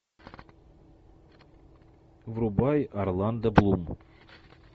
врубай орландо блум